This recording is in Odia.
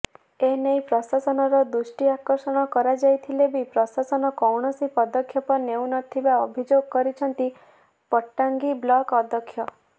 ଏନେଇ ପ୍ରଶାସନର ଦୃଷ୍ଟି ଆକର୍ଷଣ କରାଯାଇଥିଲେ ବି ପ୍ରଶାସନ କୌଣସି ପଦକ୍ଷେପ ନେଉନଥିବା ଅଭିଯୋଗ କରିଛନ୍ତି ପଟ୍ଟାଙ୍ଗୀ ବ୍ଳକ ଅଧ୍ୟକ୍ଷ